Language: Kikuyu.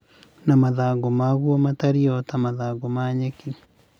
na makũmbĩ maguo matariĩ o ta mathangũ ma nyeki.